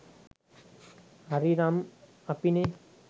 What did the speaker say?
හරි නම් අපිනෙ